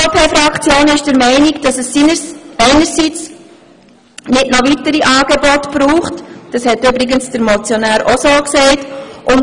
Die SVP-Fraktion ist der Meinung, dass es keine weiteren Angebote braucht, wie der Motionär selber auch gesagt hat.